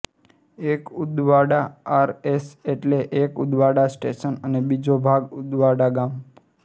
એક ઉદવાડા આરએસ એટલે કે ઉદવાડા સ્ટેશન અને બીજો ભાગ ઉદવાડા ગામ